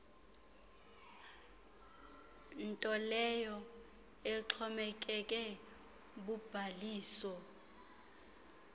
ntoleyo exhomekeke kubhaliso